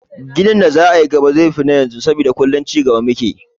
Ginin da za a yi a gaba zai fi na yanzu saboda kullum cigaba mu ke yi.